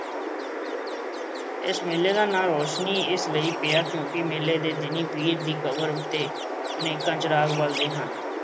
ਇਸ ਮੇਲੇ ਦਾ ਨਾਂ ਰੌਸ਼ਨੀ ਇਸ ਲਈ ਪਿਆ ਕਿਉਂ ਕਿ ਮੇਲੇ ਦੇ ਦਿਨੀਂ ਪੀਰ ਦੀ ਕਬਰ ਉੱਤੇ ਅਨੇਕਾਂ ਚਿਰਾਗ ਬਲਦੇ ਹਨ।